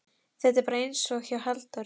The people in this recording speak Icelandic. Þetta er bara einsog hjá Halldóri